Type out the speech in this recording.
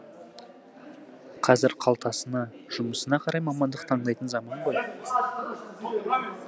қазір қалтасына жұмысына қарай мамандық таңдайтын заман ғой